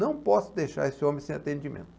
Não posso deixar esse homem sem atendimento.